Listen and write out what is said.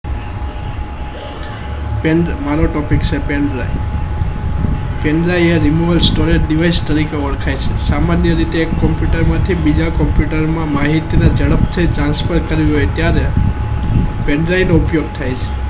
Friends મારો Topic છે Pendrive Pendrive યા Remover Storage Device તરીકે ઓળખાય છે સામાન્ય રીતે એક Computer માંથી બીજા Computer માં માહિત ના જડપથી Transfer થયું માટે ત્યારે Pendrive નો ઉપયોગ થાય છે